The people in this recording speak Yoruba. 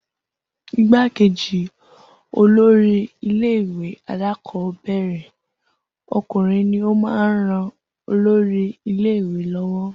Igbákejì olórí ilé ìwé alákọ̀ọ́bẹ̀rẹ̀ ọkùnrin ní o máa ń rán olórí ilé ìwé lọ́wọ́